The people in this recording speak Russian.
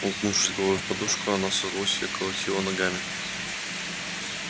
уткнувшись головой в подушку она со злости колотила ногами